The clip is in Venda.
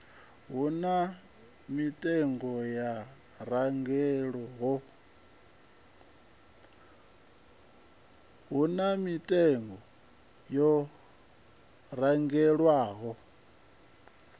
hu na mitengo yo randelwaho